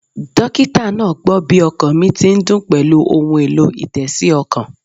Dókítà náà gbó bí ọkàn mi ti ń dún pèlú ohun èlò-ìtésí okàn